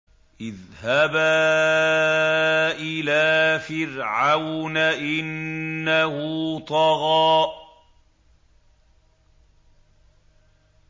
اذْهَبَا إِلَىٰ فِرْعَوْنَ إِنَّهُ طَغَىٰ